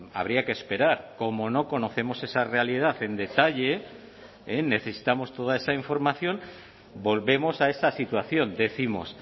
habría que esperar como no conocemos esa realidad en detalle necesitamos toda esa información volvemos a esa situación decimos